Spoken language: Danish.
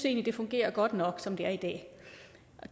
egentlig fungerer godt nok som det er i dag